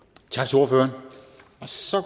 og så